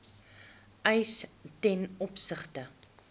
eis ten opsigte